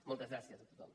moltes gràcies a tothom